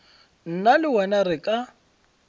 nna le wena re ka